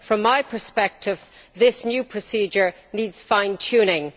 From my perspective, this new procedure needs fine tuning.